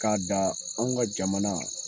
K'a da anw ka jamana.